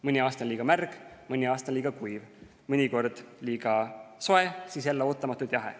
Mõni aasta on liiga märg, mõni aasta on liiga kuiv, mõnikord on liiga soe, siis on jälle ootamatult jahe.